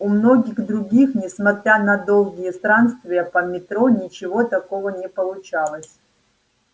у многих других несмотря на долгие странствия по метро ничего такого не получалось